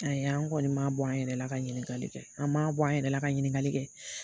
Ayi an ŋɔni m'a bɔ an yɛrɛ la ka ɲininkali kɛ, an m'a bɔ an yɛrɛ la ka ɲininkali kɛ.